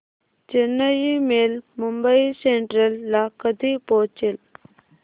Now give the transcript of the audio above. Chennai mail Mumbai central ला कधी पोहचेल